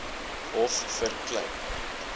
hof vir klein